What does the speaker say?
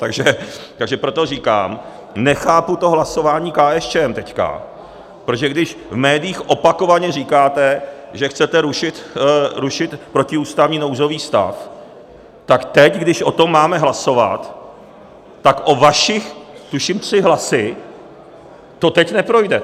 Takže proto říkám, nechápu to hlasování KSČM teď, protože když v médiích opakovaně říkáte, že chcete rušit protiústavní nouzový stav, tak teď, když o tom máme hlasovat, tak o vaše tuším tři hlasy to teď neprojde.